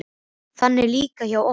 Þannig er það líka hjá okkur.